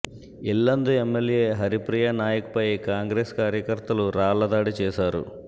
Yellandu MLA Haripriya నాయక్పై కాంగ్రెస్ కార్య కర్తలు రాళ్లదాడి చేశారు